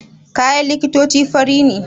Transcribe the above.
Kayan likitoci fari ne